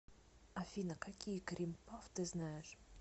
афина какие крим пафф ты знаешь